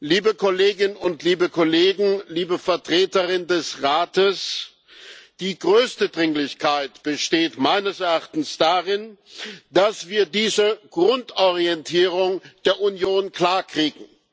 Liebe Kolleginnen und Kollegen, liebe Vertreterin des Rates, die größte Dringlichkeit besteht meines Erachtens darin, dass wir diese Grundorientierung der Union klarkriegen.